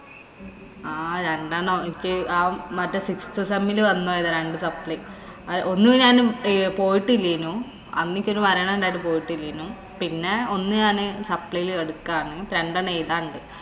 ആഹ് രണ്ടെണ്ണം എനിക്ക് ആ മറ്റേ ആഹ് siixth sem ഇല് വന്നതാ രണ്ട് supply ഒന്ന് ഞാന് പോയിട്ടില്ലേനു. അന്ന് എനിക്ക് ഒരു മരണം ഒണ്ടാരുന്നു പോയിട്ടില്ലേനു. പിന്നെ ഒന്ന് supply ല് എടുക്കാരുന്നു. രണ്ടെണ്ണം എയുതാനുണ്ട്.